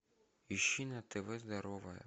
ищи на тв здоровое